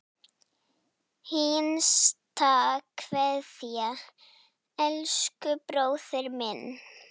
HINSTA KVEÐJA Elsku bróðir minn.